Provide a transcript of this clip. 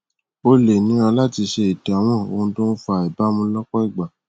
ó lè nira láti ṣe ìdámọ ohun tó ń fa àìbámú lọpọ ìgbà